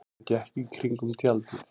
Hann gekk í kringum tjaldið.